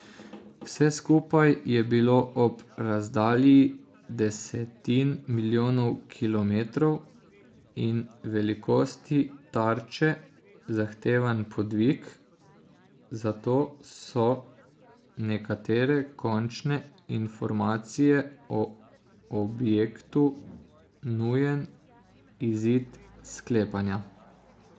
Vse skupaj je bilo ob razdalji desetin milijonov kilometrov in velikosti tarče zahteven podvig, zato so nekatere končne informacije o objektu nujen izid sklepanja.